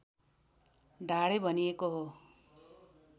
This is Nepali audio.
ढाडे भनिएको हो